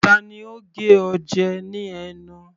Tani ó gé ọ jẹ ní ẹnu?